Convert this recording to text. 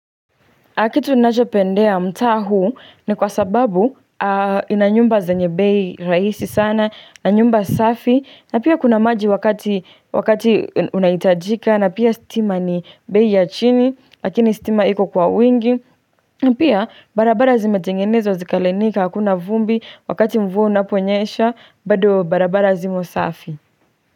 Aki tunajopendea mtaa huu ni kwa sababu inanyumba zenyebei raisi sana na nyumba safi na pia kuna maji wakati wakati unaitajika na pia stima nibei ya chini lakini stima iko kwa wingi Pia barabara zimetengenezwa zikalainika hakuna vumbi wakati mvua unaponyesha bado barabara zimo safi.